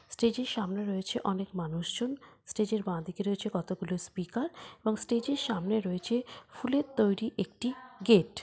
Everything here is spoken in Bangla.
স্টেজ -এর সামনে রয়েছে অনেক মানুষজন স্টেজ -এর বাঁ দিকে রয়েছে কতগুলো স্পিকার এবং স্টেজ -এর সামনে রয়েছে ফুলের তৈরী একটি গেট ।